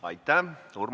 Aitäh!